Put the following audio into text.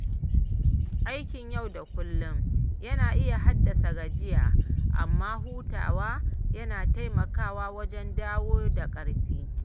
Aikin yau da kullum yana iya haddasa gajiya, amma hutawa yana taimakawa wajen dawo da ƙarfi.